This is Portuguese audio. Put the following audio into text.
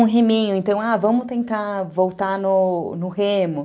Um reminho, então, ah, vamos tentar voltar no no remo.